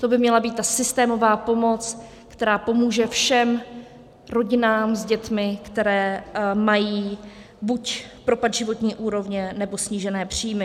To by měla být ta systémová pomoc, která pomůže všem rodinám s dětmi, které mají buď propad životní úrovně, nebo snížené příjmy.